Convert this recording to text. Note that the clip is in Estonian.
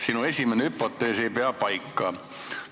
Sinu esimene hüpotees ei pea paika.